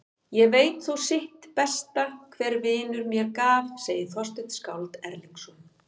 Ég veit þó sitt besta hver vinur mér gaf, segir Þorsteinn skáld Erlingsson.